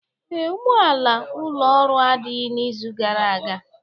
Ee, ụgbọala ụlọ Ọrụ adịghị n'izu gara aga.